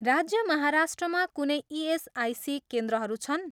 राज्य माहाराष्ट्रमा कुनै इएसआइसी केन्द्रहरू छन्